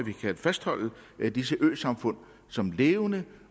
vi skal fastholde disse samfund som levende